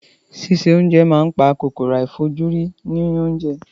Síse oúnjẹ máa ń pa kòkòrò àìfojúrí inú oúnjẹ.